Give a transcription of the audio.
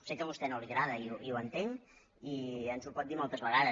sé que a vostè no li agrada i ho entenc i ens ho pot dir moltes vegades